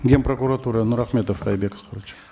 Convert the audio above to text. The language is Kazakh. ген прокуратура нұрахметов айбек асқарович